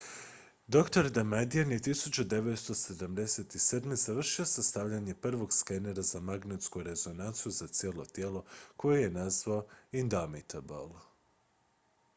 dr damadian je 1977. završio sastavljanje prvog skenera za magnetsku rezonanciju za cijelo tijelo koji je nazvao indomitable